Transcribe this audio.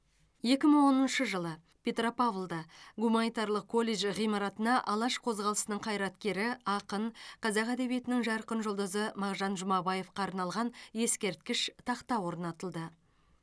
екі мың оныншы жылы петропавлда гуминатарлық колледж ғимаратына алаш қозғалысының қайраткері ақын қазақ әдебиетінің жарқын жұлдызы мағжан жұмабаевқа арналған ескерткіш тақта орнатылды